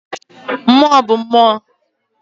Mmụọ bụ mmụọ.